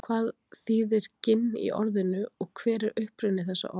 Hvað þýðir ginn í orðinu og hver er uppruni þessa orðs?